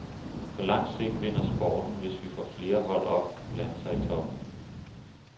På lang sigt vinder sporten, hvis vi får flere hold op og blande sig i toppen.